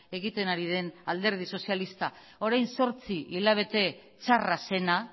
egiten ari den alderdi sozialista orain zortzi hilabete txarra zena